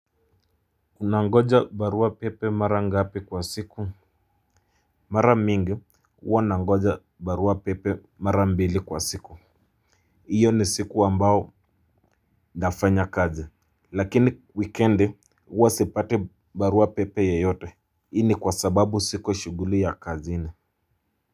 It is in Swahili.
Unangoja barua pepe mara ngapi kwa siku? Mara mingi, huwa nangoja barua pepe mara mbili kwa siku. Hiyo ni siku ambao ninafanya kazi. Lakini wikiendi huwa sipati barua pepe yeyote. Hii ni kwa sababu siko shughuli ya kazini.